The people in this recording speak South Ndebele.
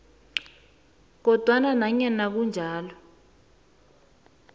kodwanake nanyana kunjalo